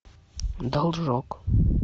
должок